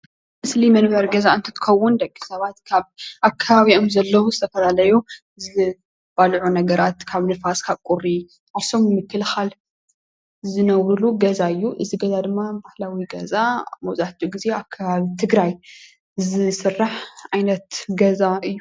ምስሊ መንበሪ ገዛ እንትኸውን ደቅሰባት ካብ ኣብ ከባቢኦም ንዘለው ዝተፈላለዩ ናይ ገዛ ሰራሕቲ እዮም። ካብ ንፋስ ፣ካብ ቁሪ ዓርሶም ንምከላኸል ካብ ዝነብሩሉ ገዛ እዩ። እዚ ገዛ ድማ ባህላዊ ገዛ ኣብ ትግራይ ዝዝውተር ገዛ እዩ።